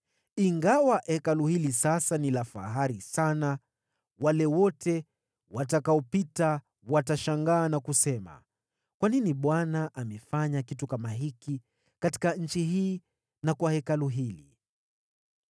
Ingawa Hekalu hili linavutia sana sasa, wote watakaolipita watashangaa na kusema, ‘Kwa nini Bwana amefanya kitu kama hiki katika nchi hii na kwa Hekalu hili?’